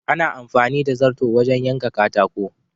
Ana amfani da zarto wajen yanka katako.